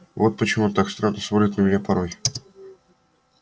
вот почему он так странно смотрит на меня порой